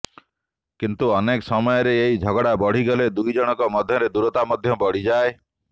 କିନ୍ତୁ ଅନେକ ସମୟରେ ଏହି ଝଗଡା ବଢିଗଲେ ଦୁଇ ଜଣଙ୍କ ମଧ୍ୟରେ ଦୂରତା ମଧ୍ୟ ବଢିଯାଏ